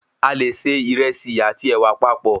A lè se ìrẹsì àti ẹ̀wà papọ̀